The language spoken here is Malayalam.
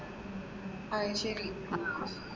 അത് ശരി.